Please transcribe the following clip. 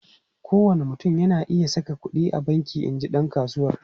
Kowane mutum na iya saka kudi a banki, in ji dan kasuwar.